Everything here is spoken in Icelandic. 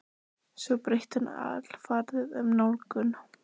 Svo breytti hann alfarið um nálgun.